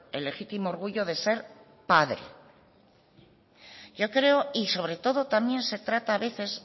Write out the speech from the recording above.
el legítimo orgullo de ser padre yo creo y sobre todo también se trata a veces